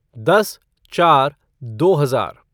दस चार दो हजार